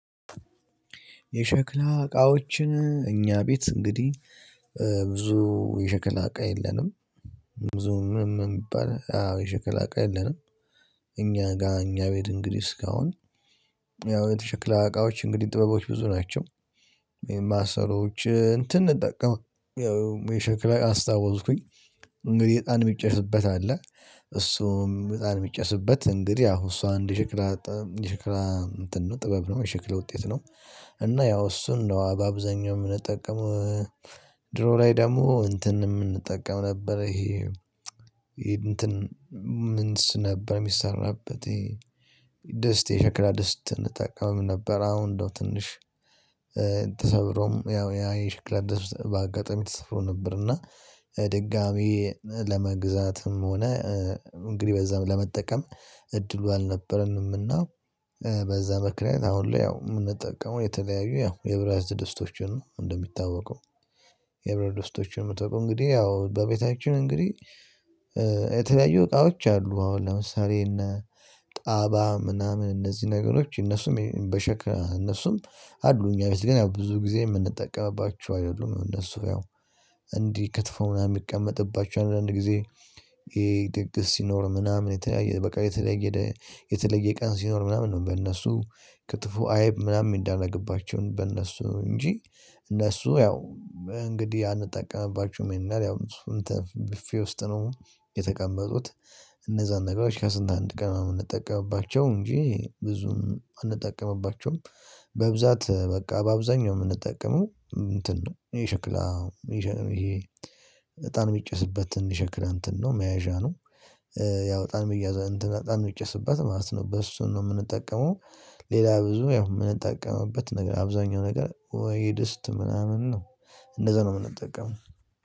የሸክላ እቃዎችን እኛ ቤት እንግዲህ ብዙ የሸክላ እቃ የለንም። ብዙ ምንም የሚባል አዎ የሽክል አቃ የለንም። እኛ ጋር እኛ ቤት እንግዲህ እስካሁን ያው የሸክለ እቃዎች እንግዲህ ጥበቦች ብዙ ናቸው። የማሰሮዎች እንትን እንጠቀም የሸክላ አስታወስኩኝ እንግዲህ እጣን የሚጨስበት አለ። እሱም በጣም የሚጨስበት እንግዲህ ያው እሷ እንደ ሽክላ ሽክላ እንትን ነው ጥበብ ነው የሽክላ ውጤት ነው። እና ያው እሱን ነው አብዛኛው የምንጠቀመው። ድሮ ላይ ደግሞ እንትን የምንጠቀመው ነበር ይሄ እንትን ምንስ ነበር የሚሰራበት? ይሄ ደስት የሸክላ ደስት እንጠቀምም ነበር። አሁን እንደው ትንሽ። ተሰብሮም ያው ያ የሽክላ ደስት በአጋጣሚ ተሰብሮ ነበር እና። ድጋሚ ለመግዛትም ሆነ እንግዲህ በዛም ለመጠቀም እድሉ አልነበረንምና። በዛ ምክንያት አሁን ላይ ያው የምንጠቀመው የተለያዩ ያው የብረት ድስቶችን ነው እንደሚታወቀው። የብረት ደስቶችን የምጠቀመው እንግዲህ ያው በቤታችን እንግዲህ። የተለያዩ እቃዎች አሉ አሁን ለምሳሌ እነ ጣባ ምናምን እነዚህ ነገሮች እነሱም በሸክላ እነሱም አሉ። እኛ ቤት ግን ያው ብዙ ጊዜ የምንጠቀምባችው አይደሉም እነሱ ያው። እንዲህ ከትፎ ምናምን የሚቀመጥባቸው አንዳንድ ጊዜ። ይሄ ድግስ ሲኖር ምናምን በቃ የተለየ የተለየ ቀን ሲኖር ምናምን ነው። በእነሱ ክትፎ አይብ ምናምን የሚደረግባቸው በእነሱ እንጂ። እነሱ ያው እንግዲህ አንጠቀምባቸውም ይሄን ያህል ያው። ቡፌ ውስጥ ነው የተቀመጡት። እነዛን ነገሮች ከስንት አንድ ቀን ነው የምንጠቀምባቸው እንጂ ብዙም አንጠቀምባቸውም። በብዛት በቃ በአብዛኛው የምንጠቀመው እንትን ነው። ይሄ ሽክል ሽክላ ይሄ እጣን የሚጨስበትን ሽክላ እንትን ነው መያዣ ነው። ያው እጣን መያዣ እንትን አጣን የሚጨስባት ማለት ነው በሱ ነው የምንጠቀመው። ሌላ ብዙ ያው የምንጠቀምበት ነገር አብዛኛው ነገር ወይ ድስት ምናምን ነው። እንደዛ ነው የምንጠቀመው።